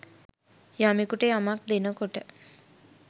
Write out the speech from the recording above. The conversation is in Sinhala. යමෙකුට යමක් දෙනකොට